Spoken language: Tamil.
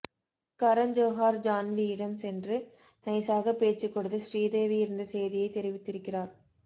கரண் ஜோஹார் ஜான்வியிடம் சென்று நைசாக பேச்சு கொடுத்து ஸ்ரீதேவி இறந்த செய்தியை தெரிவித்திருக்கிறார்